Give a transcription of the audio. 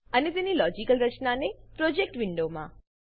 અને તેની લોજિકલ રચનાને પ્રોજેક્ટ વિન્ડોમાં